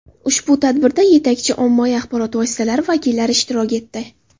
Ushbu tadbirda yetakchi ommaviy axborot vositalari vakillari ishtirok etdi.